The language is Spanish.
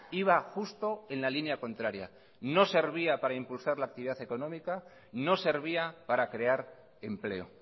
iba justo en la línea contraria no servía para impulsar la actividad económica no servía para crear empleo